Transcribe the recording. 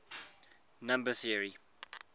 number theory